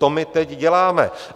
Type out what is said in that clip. To my teď děláme.